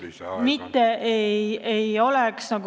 Kolm minutit lisaaega.